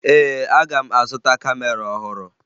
Ee, aga m azụta kamera ọhụrụ